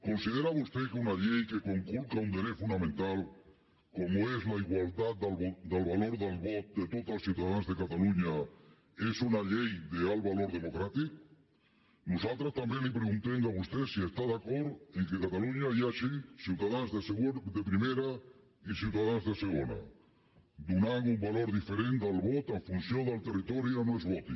considera vostè que una llei que conculca un dret fonamental com és la igualtat del valor del vot de tots els ciutadans de catalunya és una llei d’alt valor democràtic nosaltres també li preguntem a vostè si està d’acord que a catalunya hi hagi ciutadans de primera i ciutadans de segona donant un valor diferent del vot en funció del territori a on es voti